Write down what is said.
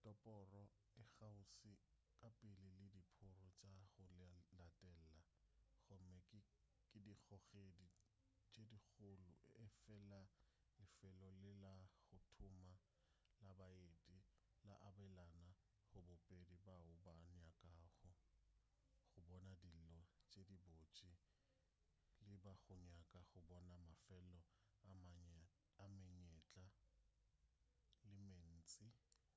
toropo e kgauswi ka pele le diphororo tša go latela gomme ke dikgogedi tše dikgolo efela lefelo le la go tuma la baeti le abelana go bobedi bao ba nyakago go bona dilo tše dibotse le ba go nyaka go bona mafelo ka menyetla